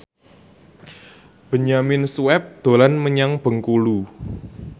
Benyamin Sueb dolan menyang Bengkulu